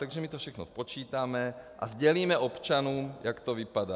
Takže my to všechno spočítáme a sdělíme občanům, jak to vypadá.